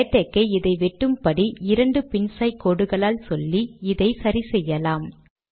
LaTeX ஐ இதை வெட்டும் படி இரண்டு பின்சாய் கோடுகளால் சொல்லி இதை சரி செய்யலாம்